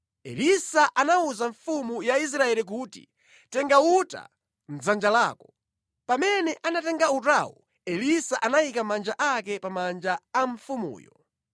Elisa anawuza mfumu ya Israeli kuti, “Tenga uta mʼdzanja lako.” Pamene anatenga utawo, Elisa anayika manja ake pa manja a mfumuyo.